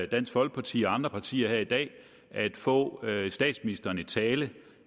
dansk folkeparti og andre partier her i dag at få statsministeren i tale